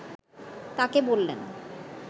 তাকে বললেন